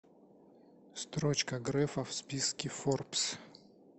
строчка грефа в списке форбс